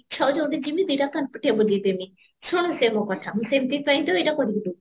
ଇଛା ହଉଛି ଏଉଠୁ ଜିମି ଦି ଟା କାନ ପାଟିଆ ବଜେଇଦେମି ସେ ମୋ କଥା ମୁଁ ସେଇଥିପାଇଁ ତ ଏଇଟା କରିକି ଦଉଛି